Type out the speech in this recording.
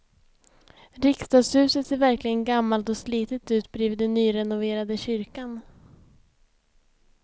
Riksdagshuset ser verkligen gammalt och slitet ut bredvid den nyrenoverade kyrkan.